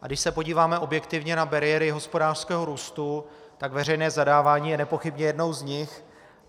A když se podíváme objektivně na bariéry hospodářského růstu, tak veřejné zadávání je nepochybně jednou z nich.